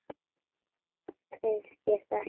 Finnst þér það ekki nóg?